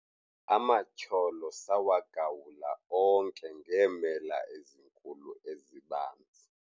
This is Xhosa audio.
Amatyholo sawagawula onke ngeemela ezinkulu ezibanzi.